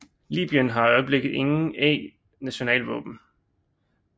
Libyen har i øjeblikket ingen a nationalvåben